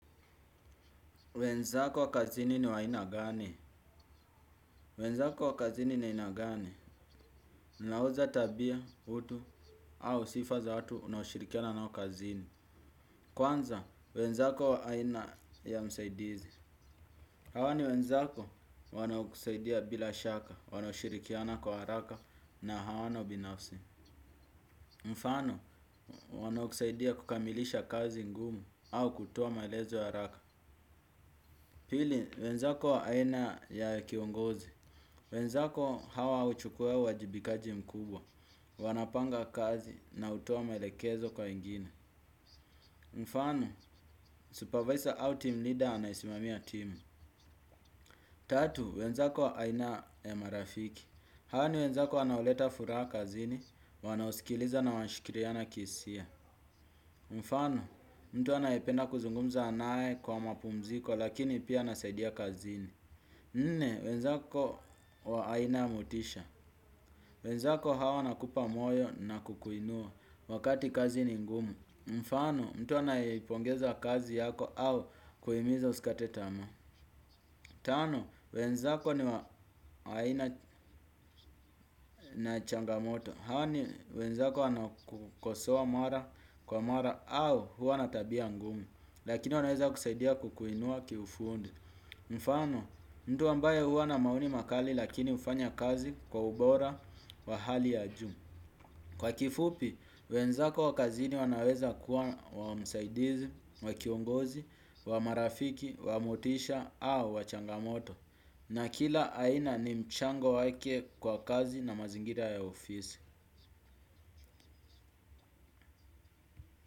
Wenzako wa kazini ni wa aina gani? Wenzako wa kazini ni aina gani? Ninauza tabia, utu, au sifa za watu unaoshirikiana nao kazini. Kwanza, wenzako aina ya msaidizi. Hawa ni wenzako wanaokusaidia bila shaka, wanashirikiana kwa haraka na hawana ubinafsi. Mfano, wanaokusaidia kukamilisha kazi ngumu au kutoa maelezo ya haraka. Pili, wenzako wa aina ya kiongozi. Wenzako hawa huchukua uwajibikaji mkubwa. Wanapanga kazi na hutoa maelekezo kwa wengine. Mfano, supervisor au team leader anayesimamia team. Tatu, wenzako aina ya marafiki. Hawa ni wenzako wanaoleta furaha kazini, wanaosikiliza na wanashikiriana kihisia. Mfano, mtu anayependa kuzungumza naye kwa mapumziko lakini pia anasaidia kazini. Nne, wenzako wa aina ya motisha. Wenzako hawa wanakupa moyo na kukuinua wakati kazi ni ngumu. Mfano, mtu anayeipongeza kazi yako au kuhimiza usikate tamaa. Tano, wenzako ni wa aina na changamoto. Hawa ni wenzako wanaokukosoa mara kwa mara au huwa na tabia ngumu. Lakini wanaweza kusaidia kukuinua kiufundi. Mfano, mtu ambaye huwa na maoni makali lakini hufanya kazi kwa ubora wa hali ya juu. Kwa kifupi, wenzako wa kazini wanaweza kuwa wa msaidizi, wa kiongozi, wa marafiki, wa motisha au wa changamoto na kila aina ni mchango wake kwa kazi na mazingira ya ofisi.